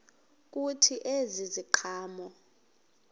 kuthi ezi ziqhamo